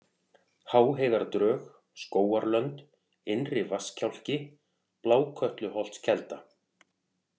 Háheiðardrög, Skógarlönd, Innri-Vatnskjálki, Blákötluholtskelda